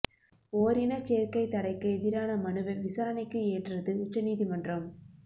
ஓரினச் சேர்க்கை தடைக்கு எதிரான மனுவை விசாரணைக்கு ஏற்றது உச்ச நீதிமன்றம்